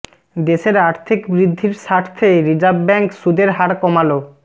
দেশের আর্থিক বৃদ্ধির স্বার্থে রিজার্ভ ব্যাঙ্ক সুদের হার কমালাে